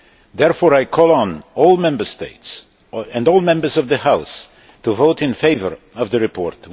Therefore, I call on all Member States and all Members of the House to vote in favour of the report.